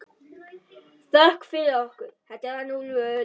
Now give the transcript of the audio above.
Þökk fyrir okkur.